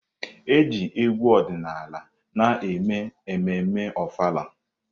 Eji egwu ọdịnala na-eme ememme Ofala.